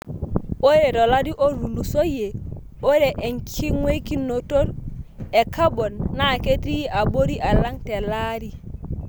Ore tolari otulusoyie, ore enkingweikinotot e kabon naa ketii abori alang telaari.